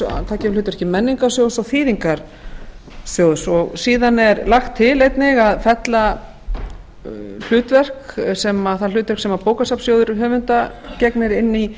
taki við hlutverki menningarsjóðs og þýðingarsjóðs síðan er einnig lagt til að fella það hlutverk sem bókasafnssjóður gegnir síðan inn í